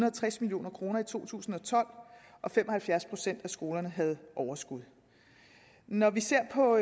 og tres million kroner i to tusind og tolv og fem og halvfjerds procent af skolerne havde overskud når vi ser på